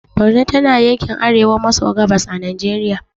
Borno tana yankin arewa maso gabas a najeriya